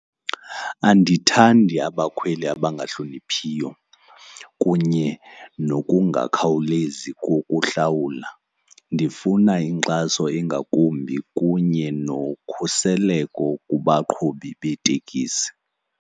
Andithandi abakhweli abangahloniphiyo kunye nokungakhawulezi kokuhlawula. Ndifuna inkxaso engakumbi kunye nokhuseleko kubaqhubi beetekisi.